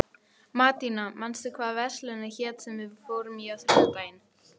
Mattíana, manstu hvað verslunin hét sem við fórum í á þriðjudaginn?